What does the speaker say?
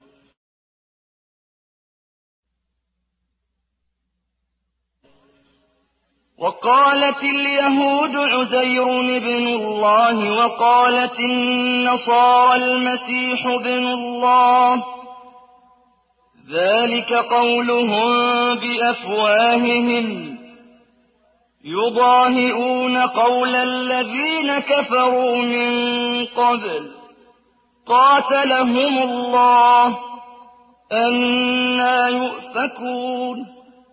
وَقَالَتِ الْيَهُودُ عُزَيْرٌ ابْنُ اللَّهِ وَقَالَتِ النَّصَارَى الْمَسِيحُ ابْنُ اللَّهِ ۖ ذَٰلِكَ قَوْلُهُم بِأَفْوَاهِهِمْ ۖ يُضَاهِئُونَ قَوْلَ الَّذِينَ كَفَرُوا مِن قَبْلُ ۚ قَاتَلَهُمُ اللَّهُ ۚ أَنَّىٰ يُؤْفَكُونَ